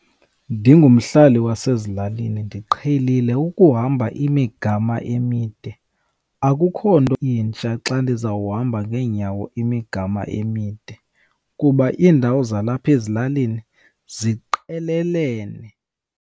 Ndingumhlali wasezilalini ndiqhelile ukuhamba imigama emide, akukho nto intsha xa ndizawuhamba ngeenyawo imigama emide kuba indawo zalapha ezilalini ziqelelene.